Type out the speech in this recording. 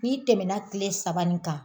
N'i tɛmɛna tile saba nin kan